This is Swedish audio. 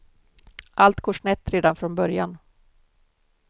Allt går snett redan från början.